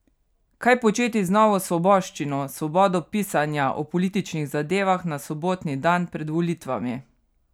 Kaj početi z novo svoboščino, svobodo pisanja o političnih zadevah na sobotni dan pred volitvami?